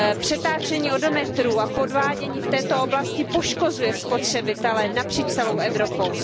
Přetáčení odometrů a podvádění v této oblasti poškozuje spotřebitele napříč celou Evropou.